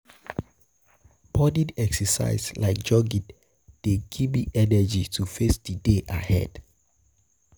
um Morning exercise like jogging dey um give me energy to face di day ahead.